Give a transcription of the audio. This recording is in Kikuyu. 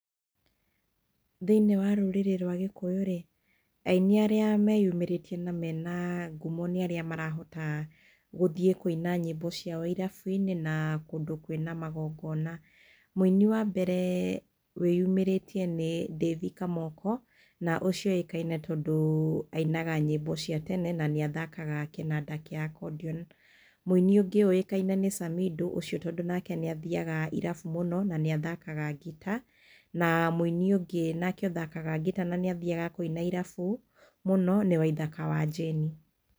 Thĩiniĩ wa rũrĩrĩ rwa Gĩkũyũ-rĩ, ainĩ arĩa meyumĩrĩtie na mena ngumo nĩ arĩa marahota gũthiĩ kũina nyĩmbo ciao irabu-inĩ, na kũndũ kwĩna magongona. Mũini wa mbere wĩyumĩrĩtie nĩ Davi Kamoko, na ũcio oĩkaine tondũ ainaga nyĩmbo cia tene na nĩathakaga kĩnanda gĩa kondion. Mũini ũngĩ ũĩkaine nĩ Samindo tondũ nake nĩ athiaga irabu mũno na nĩ athakaga ngita. Na mũini ũngĩ na nĩ athakaga ngita na nĩ athiaga kũina irabu mũno nĩ Waithaka wa Jane.